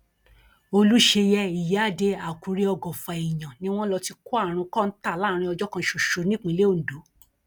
olùṣeyẹ ìyíáde àkùrẹ ọgọfà èèyàn ni wọn lọ ti kó àrùn kọńtà láàrin ọjọ kan ṣoṣo nípínlẹ ondo